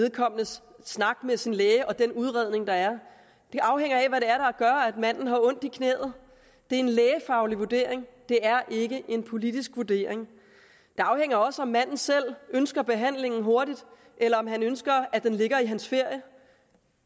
vedkommendes snak med sin læge og den udredning der er det afhænger af hvad det er der gør at manden har ondt i knæet det er en lægefaglig vurdering det er ikke en politisk vurdering det afhænger også af om manden selv ønsker behandlingen hurtigt eller om han ønsker at den ligger i hans ferie